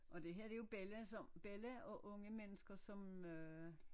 Og det her det jo Bella som Bella og unge mennesker som øh